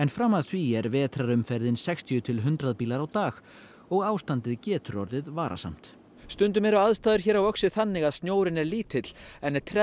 fram að því er vetrarumferðin sextíu til hundrað bílar á dag og ástandið getur orðið varasamt stundum eru aðstæður hér á Öxi þannig að snjórinn er lítill en